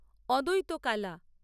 অদ্বৈত কালা